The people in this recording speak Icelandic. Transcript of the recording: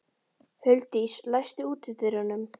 Huldís, læstu útidyrunum.